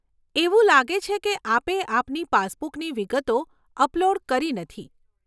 એવું લાગે છે કે આપે આપની પાસબુકની વિગતો અપલોડ કરી નથી.